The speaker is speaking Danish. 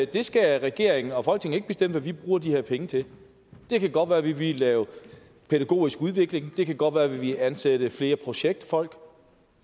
det skal regering og folketing ikke bestemme hvad de bruger de her penge til det kan godt være at de vil lave pædagogisk udvikling det kan godt være at de vil ansætte flere projektfolk